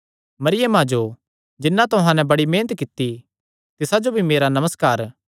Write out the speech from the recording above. मरियमा जो जिन्नै तुहां तांई बड़ी मेहनत कित्ती तिसा जो भी मेरा नमस्कार